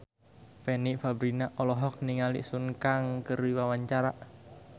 Fanny Fabriana olohok ningali Sun Kang keur diwawancara